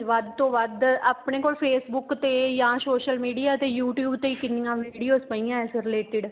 ਵੱਧ ਤੋਂ ਵੱਧ ਆਪਣੇ ਕੋਲ Facebook ਤੇ ਜਾਂ social media ਤੇ you tube ਤੇ ਹੀ ਕਿੰਨੀਆਂ videos ਪਈਆਂ ਹੈ ਇਸ related